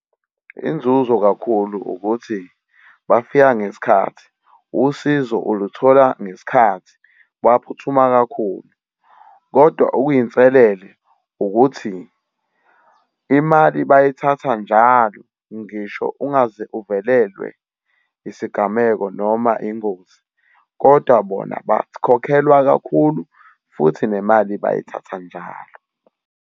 Inzuzo kakhulu ukuthi bafika ngesikhathi usizo uluthola ngesikhathi baphuthuma kakhulu. Kodwa okuyinselele ukuthi imali bayithatha njalo ngisho ungaze uvelelwe isigameko noma ingozi, kodwa bona bakhokhelwa kakhulu futhi nemali bayithatha njalo.